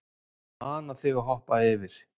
Ég mana þig að hoppa yfir.